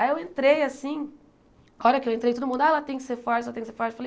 Aí eu entrei assim, a hora que eu entrei, todo mundo, ah ela tem que ser forte, ela tem que ser forte. Falei